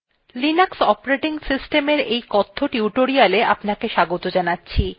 linux operating system এই কথ্য tutorial আপনাকে স্বাগত জানাচ্ছি